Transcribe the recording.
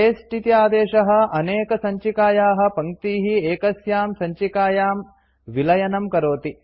paste इति आदेशः अनेकसञ्चिकायाः पङ्क्तीः एकस्यां सञ्चिकायां विलयनं करोति